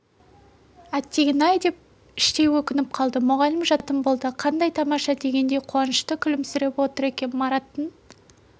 әттеген-ай деп іштей өкініп қалды мұғалім жататын болды қандай тамаша дегендей қуанышты күлімсіреп отыр екен мараттың